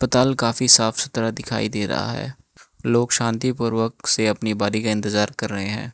तल काफी साफ सुथरा दिखाई दे रहा है लोग शांतिपूर्वक से अपनी बारी का इंतजार कर रहे हैं।